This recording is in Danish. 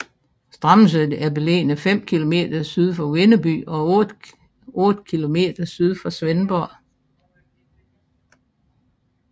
Strammelse er beliggende fem kilometer syd for Vindeby og otte kilometer syd for Svendborg